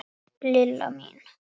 Lilla mín.